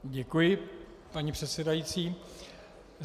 Děkuji, paní předsedající.